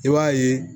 I b'a ye